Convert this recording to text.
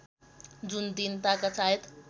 जुन तिनताका सायद